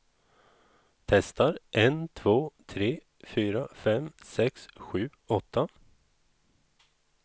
Testar en två tre fyra fem sex sju åtta.